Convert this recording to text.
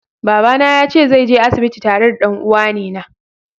Baba na yace zai je asibiti tare da dan'uwane na.